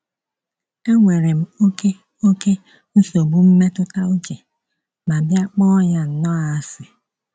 Enwere m oké oké nsogbu mmetụta uche ma bịa kpọọ ya nnọọ asị.